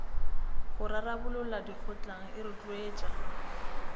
go rarabolola dikgotlang e rotloetsa